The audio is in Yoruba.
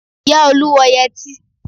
Ìyá Olú wọ yẹtí